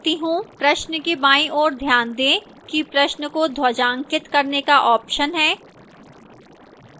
प्रश्न के बाईं ओर ध्यान दें कि प्रश्न को ध्वजांकित करने का option है